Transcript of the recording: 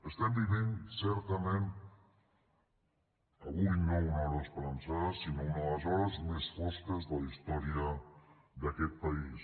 estem vivint certament avui no una hora esperançada sinó una de les hores més fosques de la història d’aquest país